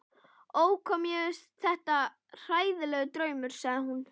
Ó, hvað mér finnst þetta hræðilegur draumur, sagði hún